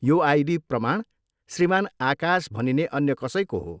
यो आइडी प्रमाण श्रीमान आकाश भनिने अन्य कसैको हो।